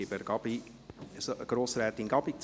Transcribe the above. Ich gebe Grossrätin Gabi das Wort.